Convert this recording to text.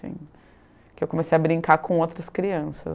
Porque eu comecei a brincar com outras crianças.